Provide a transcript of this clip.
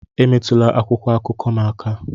Emetụla akwụkwọ akụkọ m aka!